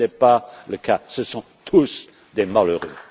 Ce n'est pas le cas. Ce sont tous des malheureux.